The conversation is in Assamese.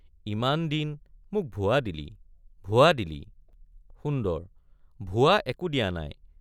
ইমান দিন মোক ভুৱা দিলি—ভুৱা দিলি— সুন্দৰ—ভুৱা একো দিয়া নাই।